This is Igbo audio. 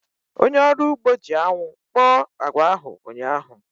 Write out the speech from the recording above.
Onye ọrụ ugbo ahu ji anwụ kpọọ agwa ahu ụnyaahụ